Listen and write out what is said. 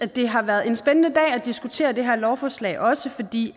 det har været en spændende dag at diskutere det her lovforslag også fordi